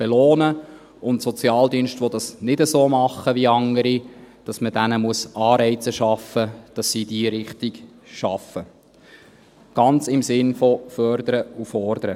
Für Sozialdienste, die dies nicht so machen wie andere, müssen Anreize geschaffen werden, in diese Richtung zu arbeiten, ganz im Sinne von «Fördern und Fordern».